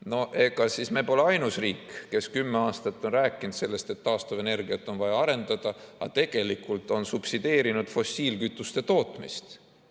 No ega me pole siis ainus riik, kes kümme aastat on rääkinud sellest, et taastuvenergiat on vaja arendada, aga tegelikult on subsideerinud fossiilkütuste tootmist.